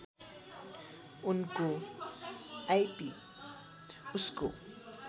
उनको आइपी उसको